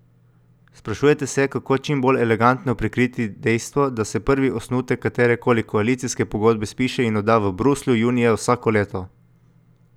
Sprašujete se, kako čim bolj elegantno prikriti dejstvo, da se prvi osnutek katere koli koalicijske pogodbe spiše in odda v Bruslju junija vsako leto.